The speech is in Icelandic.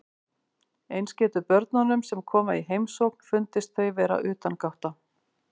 Eins getur börnunum sem koma í heimsókn fundist þau vera utangátta.